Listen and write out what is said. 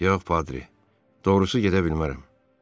Yox, Padri, doğrusu gedə bilmərəm.